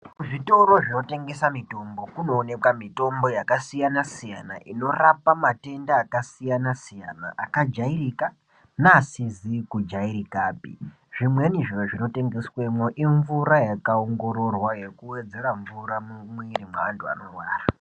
Zvitoro zvinotengesa mitombo kunooneka mitombo yakasiyana siyana inorapa matenda akajairika neasizi kujairikape zvimweni zviro zvinotengeswemwo imvura yakaongororwa yekuwedzera mvura mumwiri mweantu anorwara.